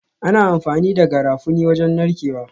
Ana amfani da Garafuni wajen narkewa